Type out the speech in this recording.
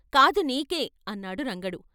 "కాదు నీకే" అన్నాడు రంగడు.